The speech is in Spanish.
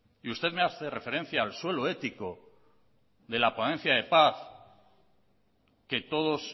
usted me hace referencia al suelo ético de la ponencia de paz que todos